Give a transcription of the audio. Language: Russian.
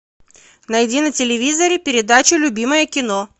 найди на телевизоре передачу любимое кино